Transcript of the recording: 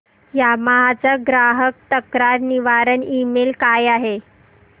Yamaha चा ग्राहक तक्रार निवारण ईमेल काय आहे